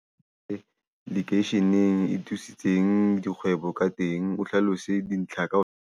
Wi-Fi lekeisheneng e thusitseng dikgwebo ka teng, o hlalose dintlha .